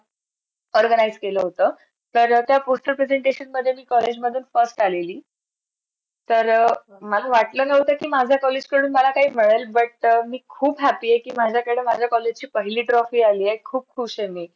organize केलं होत तर त्या poster presentation मध्ये मी college मधून first आलेली तर मला वाटलं नव्हतं कि माझ्या college कडून मला काय मिळेल but मी खूप happy कि माझ्याकडे माझ्या college ची पहिली trophy आलीये खूप खुश ये मी